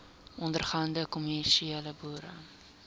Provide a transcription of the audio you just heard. ondergaande kommersiële boere